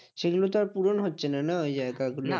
সেগুলো তো আর পূরণ হচ্ছেনা না ওই জায়গাগুলো?